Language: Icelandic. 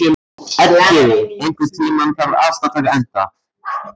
Elliði, einhvern tímann þarf allt að taka enda.